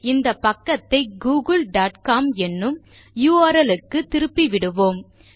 இந்த பக்கத்தைgoogle dot com எனும் u r ல் க்கு திருப்பிவிடுவோம்